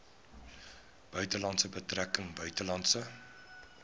buitelandse betrekkinge buitelandse